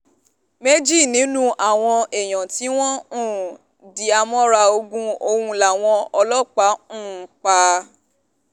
méjì nínú àwọn èèyàn tí wọ́n um dìhámọ́ra ogun ọ̀hún làwọn ọlọ́pàá um pa